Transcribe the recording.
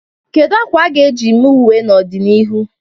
Kedu akwa a ga-eji mee uwe n'ọdịnihu?